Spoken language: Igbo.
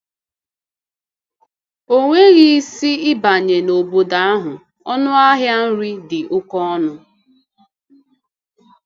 O nweghị isi ịbanye n’obodo ahụ; ọnụ ahịa nri dị oke ọnụ.